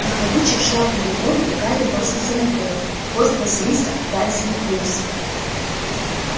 нахлобучив шляпу на голову гарри бросился на пол хвост василиска опять взметнулся